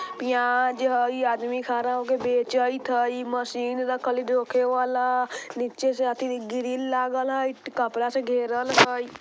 प्याज हई आदमी खड़ा होके बेचैत हई | मशीन रखल हई जोखे वाला निचे साथ ही ग्रिल लागल है कपड़ा से घेरल हई ।